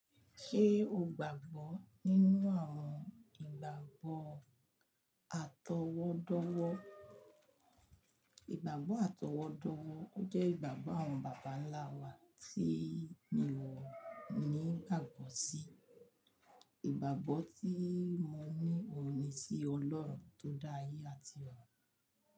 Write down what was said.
Ṣé o gbàgbọ́ nínú àwọn ìgbàgbọ́ àtọwọ́dọ́wọ́? Ìgbàgbọ́ àtọwọ́dọ́wọ́ jẹ́ ìgbàgbọ́ àwọn bàbá ńlá wa tí miọ ní ìgbàgbọ́ sí. Ìgbàgbọ́ tí mo ní mo ní sí Ọlọ́run tó dá ayé àti ọ̀run.